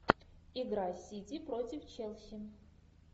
игра сити против челси